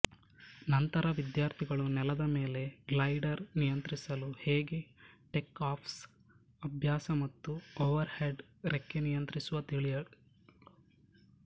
ನಂತರ ವಿದ್ಯಾರ್ಥಿಗಳು ನೆಲದ ಮೇಲೆ ಗ್ಲೈಡರ್ ನಿಯಂತ್ರಿಸಲು ಹೇಗೆ ಟೇಕ್ ಆಫ್ಸ್ ಅಭ್ಯಾಸ ಮತ್ತು ಓವರ್ಹೆಡ್ ರೆಕ್ಕೆ ನಿಯಂತ್ರಿಸುವ ತಿಳಿಯಲು